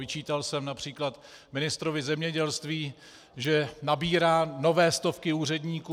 Vyčítal jsem například ministrovi zemědělství, že nabírá nové stovky úředníků.